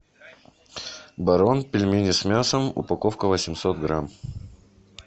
барон пельмени с мясом упаковка восемьсот грамм